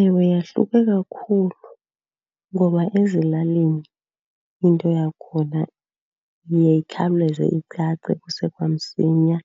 Ewe, yahluke kakhulu ngoba ezilalini into yakhona iye ikhawuleze icace kuse kwamsinya.